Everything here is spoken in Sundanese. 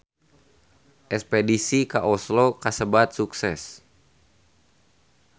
Espedisi ka Oslo kasebat sukses